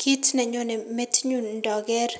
Kit nenyone metinyun ndoker